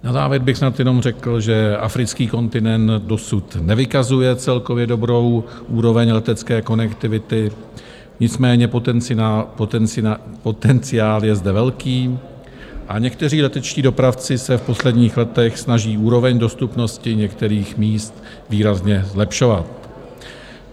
Na závěr bych snad jenom řekl, že africký kontinent dosud nevykazuje celkově dobrou úroveň letecké konektivity, nicméně potenciál je zde velký a někteří letečtí dopravci se v posledních letech snaží úroveň dostupnosti některých míst výrazně zlepšovat.